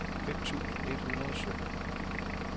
fem tusind et hundrede og sytten